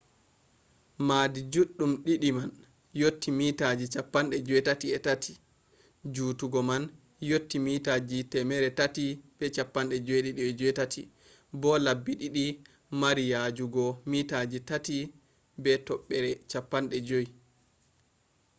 maadi juɗɗum ɗiɗi man yotti meetaji 83 jutugo man yotti meetaji 378 bo labbi ɗiɗi mari yajugo meetaji 3.50